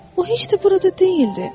O heç də burada deyildi.